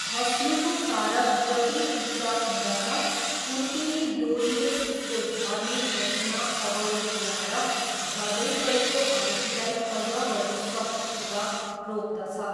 खस्नुको कारक जति उच्च हुँदछ उत्ति नै डोरीले उसको झर्ने गतिमा अवरोध ल्याएर झर्दै गरेको आरोहीलाई अझ बढी शक्तिसित रोक्दछ।